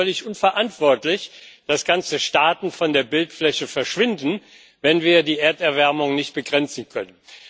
Es wäre völlig unverantwortlich, dass ganze Staaten von der Bildfläche verschwinden, wenn wir die Erderwärmung nicht begrenzen können.